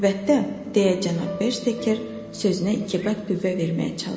Əlbəttə, deyə cənab Beker sözünə iki qat qüvvə verməyə çalışdı.